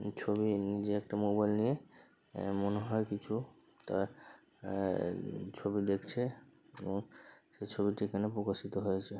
উ ছবি নিজে একটা মোবাইল নিয়ে আ মনে হয় কিছু তার আ আ উ ছবি দেখছে এবং সেই ছবিটি এখানে প্রকাশিত হয়েছে।